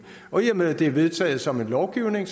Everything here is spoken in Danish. og i og med det er vedtaget som en lovgivning